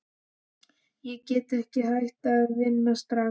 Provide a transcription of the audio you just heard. Ég get ekki hætt að vinna strax.